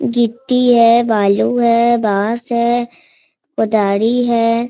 गिटी है बालू है बास है कुदारी है |